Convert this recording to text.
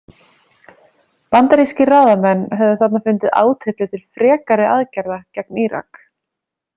Bandaríkiskir ráðamenn höfðu þarna fundið átyllu til frekari aðgerða gegn Írak.